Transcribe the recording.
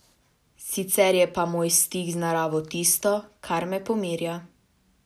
Sicer je pa moj stik z naravo tisto, kar me pomirja.